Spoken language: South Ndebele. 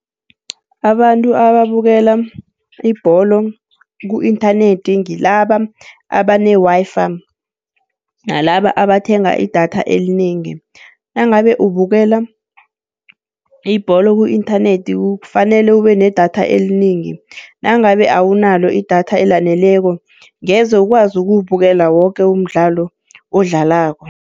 Abantu ababukela ibholo ku-inthanethi ngilaba abane-Wi-Fi, nalaba abathenga i-data elinengi. Nangabe ubukela ibholo ku-inthanethi kufanele ube ne-data elinengi, nangabe awunalo i-data elaneleko ngeze ukwazi ukuwubukela woke umdlalo odlalako.